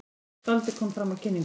Skáldið kom fram á kynningunni.